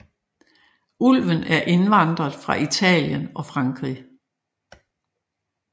Ulven er indvandret fra Italien og Frankrig